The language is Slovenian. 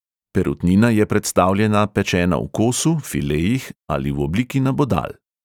Perutnina je predstavljena pečena v kosu, filejih ali v obliki nabodal.